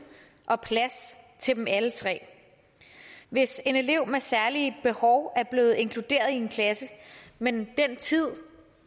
og plads til dem alle tre hvis en elev med særlige behov er blevet inkluderet i en klasse men den tid